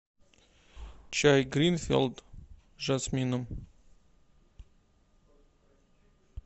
чай гринфилд с жасмином